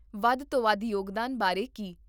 ਵੱਧ ਤੋਂ ਵੱਧ ਯੋਗਦਾਨ ਬਾਰੇ ਕੀ?